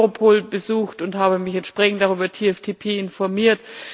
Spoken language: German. Ich habe Europol besucht und habe mich entsprechend auch über das TFTP informiert.